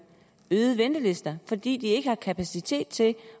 længere ventelister fordi der ikke er kapacitet til